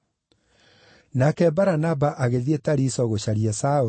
Nake Baranaba agĩthiĩ Tariso gũcaria Saũlũ,